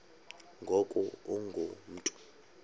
ngoku ungu mntu